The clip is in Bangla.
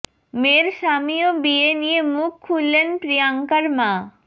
মেয়ের স্বামী ও বিয়ে নিয়ে মুখ খুললেন প্রিয়াঙ্কার মা